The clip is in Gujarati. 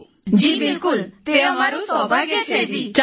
સમૂહ સ્વર જી બિલકુલ તે અમારું સૌભાગ્ય છે જી